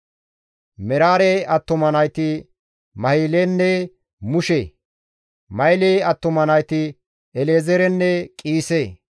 Meraare attuma nayti Mahilenne Mushe; Mahile attuma nayti El7ezeerenne Qiise.